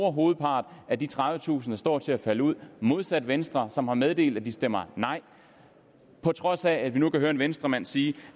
om hovedparten af de tredivetusind der står til at falde ud modsat venstre som har meddelt at de stemmer nej på trods af at vi nu kan høre en venstremand sige